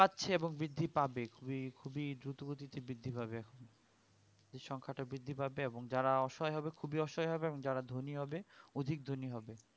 পাচ্ছে এবং বৃদ্ধি পাবে খুবই খুবই দ্রুত গতিতে বৃদ্ধি পাবে এই সংখ্যা তা বৃদ্ধি পাবে এবং যারা অসহায় হবে খুবই অসহায় এবং যারা ধোনি হবে অধিক ধোনি হবে